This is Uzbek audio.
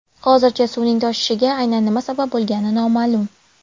Hozircha, suvning toshishiga aynan nima sabab bo‘lgani noma’lum.